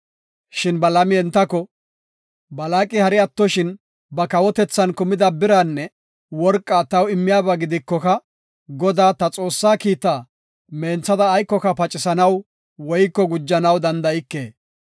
Shin Balaami entako, “Balaaqi hari attoshin ba kawotethan kumida biraanne worqaa taw immiyaba gidikoka Godaa, ta Xoossaa kiitaa menthada aykoka pacisanaw woyko gujanaw danda7ike.